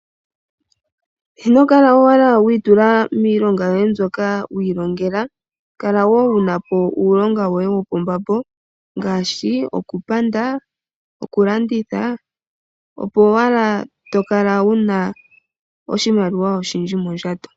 Inokala owala wiitula miilonga yoye mbyoka wi ilongela, kala wo wuna po uulonga woye wopombambo ngaashi okupanda, oku landitha, opo owala to kala wuna oshimaliwa oshindji mondjato.